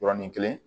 Yɔrɔnin kelen